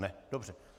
Ne, dobře.